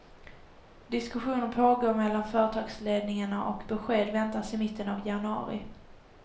Diskussioner pågår mellan företagsledningarna och besked väntas i mitten av januari.